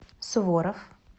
суворов